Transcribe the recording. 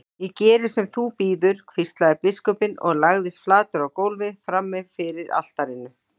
Ég geri sem þú býður, hvíslaði biskupinn og lagðist flatur á gólfið frammi fyrir altarinu.